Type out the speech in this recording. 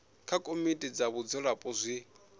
kha komiti dza vhadzulapo zwi